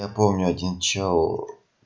я помню один чел